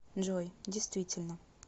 джой действительно